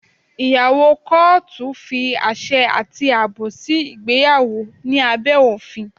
Ìgbéyàwó kọ́ọ́tù fi àṣẹ àti àbò sí ìgbéyàwó ní abẹ́ òfin.